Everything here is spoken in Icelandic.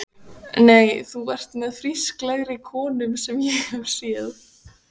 Nei, þú ert með frísklegri konum sem ég hef séð.